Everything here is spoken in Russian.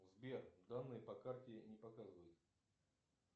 сбер данные по карте не показывает